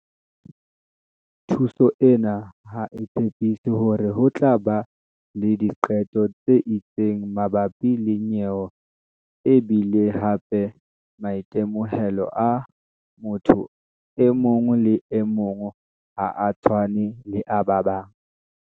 "Thuso ena ha e tshepiso hore ho tla ba le diqeto tse itseng mabapi le nyewe e bile hape maitemohelo a motho e mong le e mong ha a tshwane le a ba bang."